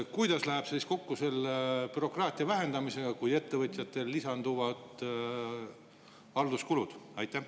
Kuidas see siis läheb kokku bürokraatia vähendamisega, kui ettevõtjatele lisanduvad halduskulud?